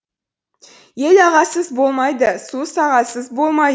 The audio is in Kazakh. ел ағасыз болмайды су сағасыз болмай